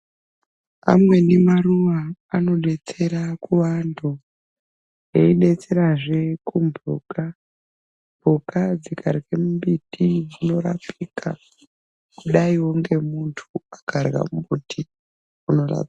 Amweni maruwa anodetsera kuvanthu eidetserazve kumbuka mbuka dzikarye mimbiti dzinorapika kudaiwo ngemunthu akarya mumubuti unorapa.